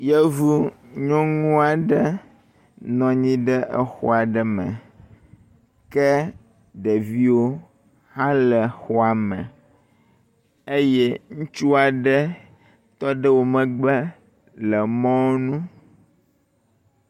Yevu nyɔnu aɖe nɔ anyi ɖe exɔ aɖe me ke ɖeviwo hã le xɔa me eye ŋutsu aɖe tɔ ɖe wo megbe le mɔnu.